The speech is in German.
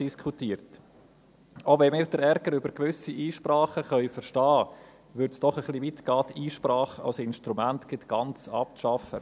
Auch wenn wir den Ärger über gewisse Einsprachen verstehen können, ginge es doch etwas weit, die Einsprachen als Instrument gleich ganz abzuschaffen.